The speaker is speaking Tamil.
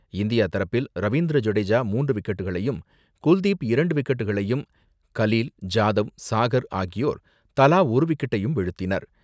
இந்தியா தரப்பில் ரவீந்திர ஜடேஜா மூன்று விக்கெட்டுக்களையும் குல்தீப் இரண்டு விக்கெட்டுக்களையும் கலீல், ஜாதவ், சாகர் ஆகியோர் தலா ஒரு விக்கெட்டையும் வீழ்த்தினர்.